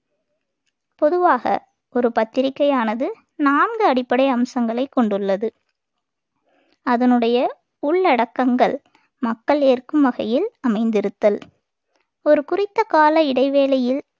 பொதுவாக ஒரு பத்திரிக்கையானது நான்கு அடிப்படை அம்சங்களை கொண்டுள்ளது அதனுடைய உள்ளடக்கங்கள் மக்கள் ஏற்கும் வகையில் அமைந்திருத்தல் ஒரு குறித்த கால இடைவேளையில்